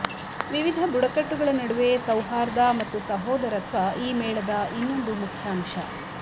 ವಿವಿಧ ಬುಡಕಟ್ಟುಗಳ ನಡುವೆ ಸೌಹಾರ್ದ ಮತ್ತು ಸಹೋದರತ್ವ ಈ ಮೇಳದ ಇನ್ನೊಂದು ಮುಖ್ಯ ಅಂಶ